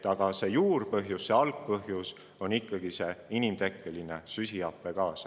Aga algpõhjus on ikkagi inimtekkeline süsihappegaas.